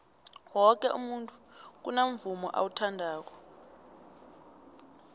woke umntu kunamvumo awuthandako